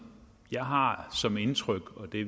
jeg har som indtryk og det